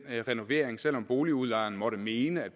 renovering selv om boligudlejeren måtte mene at